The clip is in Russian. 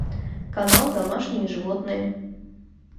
канал домашние животные